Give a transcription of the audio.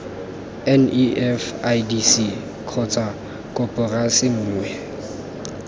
nef idc kgotsa koporasi nngwe